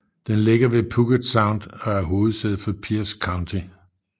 Den ligger ved fjorden Puget Sound og er hovedsæde for Pierce County